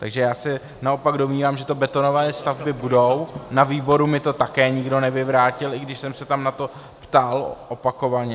Takže já se naopak domnívám, že to betonové stavby budou, na výboru mi to také nikdo nevyvrátil, i když jsem se tam na to ptal opakovaně.